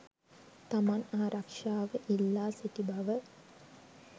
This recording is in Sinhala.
තමන් ආරක්ෂාව ඉල්ලා සිටි බව